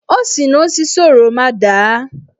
O si n'osisi oroma daa.